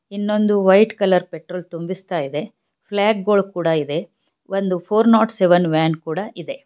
ಇನ್ನೊಂದು white colour petrol ತುಂಬಿಸ್ತಾಯಿದೆ ಫ್ಲಾಗ್ಗಳು ಕೂಡಾ ಇವೆ ಒಂದು ಫೋರ್ ನಾಟ್ ಸೆವೆನ್ ವ್ಯಾನ್ ಕೂಡಾ ಇದೆ.